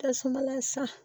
Tasuma san